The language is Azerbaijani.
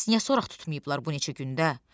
Bəs niyə soraq tutmayıblar bu neçə gündə?